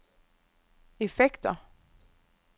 effekter